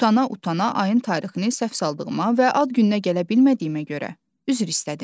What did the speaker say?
Utana-utana ayın tarixini səhv saldığıma və ad gününə gələ bilmədiyimə görə üzr istədim.